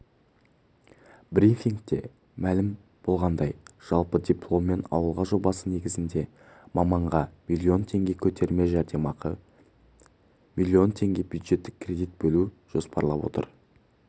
брифингте мәлім болғандай жылы дипломмен ауылға жобасы негізінде маманға миллион теңге көтерме жәрдемақы мен миллион теңге бюджеттік кредит бөлу жоспарланып отыр